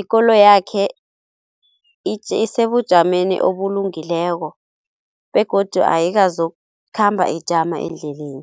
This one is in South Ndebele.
ikoloyakhe isebujameni obulungileko begodu ayikazokukhamba ijama endleleni.